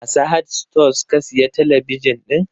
A Sahad stores ka siya talabijin ɗin?